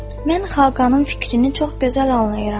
Mən Xaqanın fikrini çox gözəl anlayıram.